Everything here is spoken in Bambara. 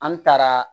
An taara